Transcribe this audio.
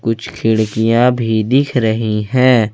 कुछ खिड़कियां भी दिख रही हैं।